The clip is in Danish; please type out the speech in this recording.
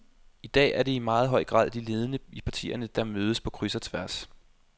I dag er det i meget høj grad de ledende i partierne, der mødes på kryds og tværs.